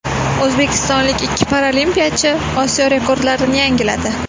O‘zbekistonlik ikki paralimpiyachi Osiyo rekordlarini yangiladi.